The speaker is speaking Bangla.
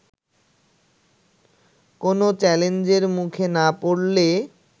কোনো চ্যালেঞ্জের মুখে না পড়লে